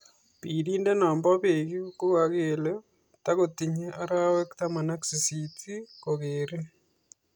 Birindet no bo pek ko kakele takotinye arawek 18 ing kokoreni.